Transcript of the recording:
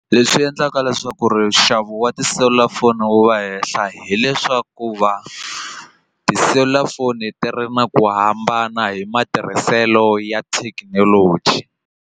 Leswi endlaka leswaku ri nxavo wa tiselulafoni wu va hehla hileswaku va tiselulafoni ti ri na ku hambana hi matirhiselo ya thekinoloji.